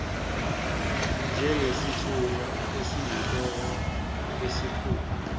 njengesithunywa esiyinhloko yesikhungo